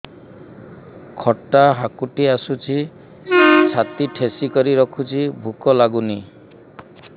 ଖଟା ହାକୁଟି ଆସୁଛି ଛାତି ଠେସିକରି ରଖୁଛି ଭୁକ ଲାଗୁନି